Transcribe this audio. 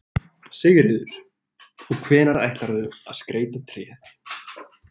Sigríður: Og hvenær ætlarðu að skreyta tréð?